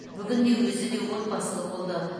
бүгінде өзі де отбасылы болды